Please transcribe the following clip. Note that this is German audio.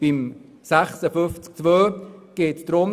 Zum Antrag zu Artikel 56 Absatz 2: